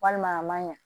Walima a ma ɲa